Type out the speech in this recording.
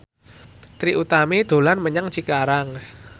Trie Utami dolan menyang Cikarang